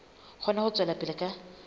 kgone ho tswela pele ka